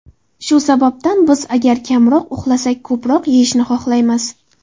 Shu sababdan biz agar kamroq uxlasak ko‘proq yeyishni xohlaymiz.